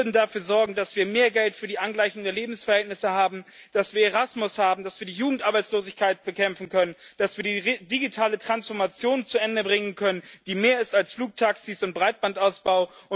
Sie würden dafür sorgen, dass wir mehr Geld für die Angleichung der Lebensverhältnisse haben, dass wir Erasmus haben, dass wir die Jugendarbeitslosigkeit bekämpfen können, dass wir die digitale Transformation zu Ende bringen können, die mehr ist als Flugtaxis und Breitbandausbau.